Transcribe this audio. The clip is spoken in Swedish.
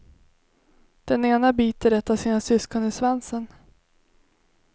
Den ena biter ett av sina syskon i svansen.